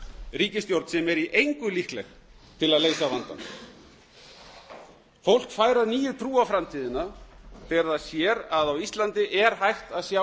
ríkisstjórn sem er í engu líkleg til að leysa vandann fólk fær að nýju trú á framtíðina þegar það sér að á íslandi er hægt að sjá